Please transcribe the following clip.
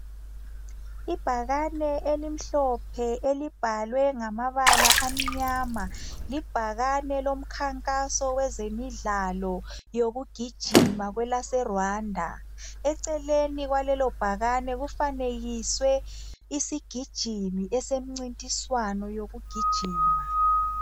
Ibhakane elimhlophe elibhalwe ngamabala amnyama, libhakane lomkhankaso wezemidlalo yokugijima kwelase Rwanda, eceleni kwalelo bhakane kufanekiswe isigijimi esemncintiswano yokugijima.